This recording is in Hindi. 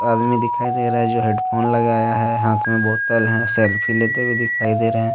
आदमी दिखाई दे रहा है जो हेड फोन लगाया है हाथ में बोतल है सेल्फी लेते हुए दिखाई दे रहे --